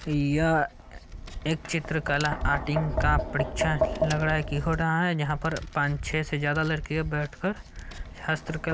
यह एक चित्र कला आरटिंग का परीक्षा लग रहा है की हो रहा है। यहां पर पाँच छै से ज्यादा लड़के बैठकर हस्त्र--